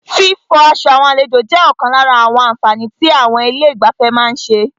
Fífọ aṣọ àwọn àlejò jẹ́ ọ̀kan lára àwọn àǹfààní tí àwọn ilé ìgbafẹ́ má ń ṣe.